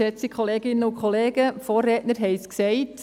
Die Vorredner haben es gesagt: